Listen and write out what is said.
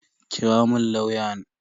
Kira mun lauyan.